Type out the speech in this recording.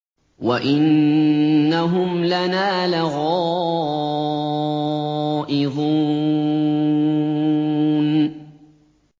وَإِنَّهُمْ لَنَا لَغَائِظُونَ